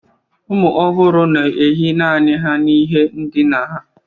ụmụ ọhụrụ na-ehi naanị ha n'ihe ndina ha